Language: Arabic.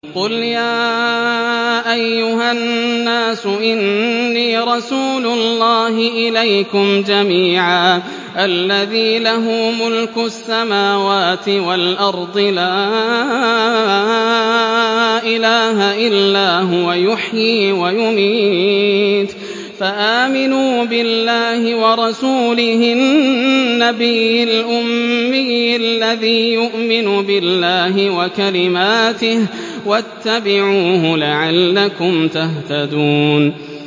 قُلْ يَا أَيُّهَا النَّاسُ إِنِّي رَسُولُ اللَّهِ إِلَيْكُمْ جَمِيعًا الَّذِي لَهُ مُلْكُ السَّمَاوَاتِ وَالْأَرْضِ ۖ لَا إِلَٰهَ إِلَّا هُوَ يُحْيِي وَيُمِيتُ ۖ فَآمِنُوا بِاللَّهِ وَرَسُولِهِ النَّبِيِّ الْأُمِّيِّ الَّذِي يُؤْمِنُ بِاللَّهِ وَكَلِمَاتِهِ وَاتَّبِعُوهُ لَعَلَّكُمْ تَهْتَدُونَ